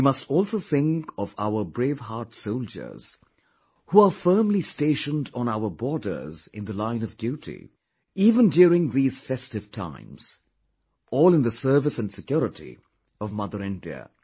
We must also think of our braveheart soldiers who are firmly stationed on our borders in the line of duty, even during these festive times...all in the service and security of Mother India